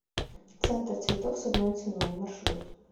центр цветов с одной ценой маршрут